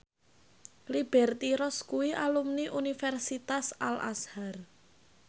Liberty Ross kuwi alumni Universitas Al Azhar